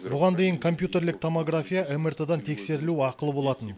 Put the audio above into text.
бұған дейін компьютерлік томография мрт дан тексерілу ақылы болатын